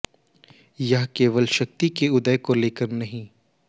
ये केवल एक शक्ति के उदय को लेकर नहीं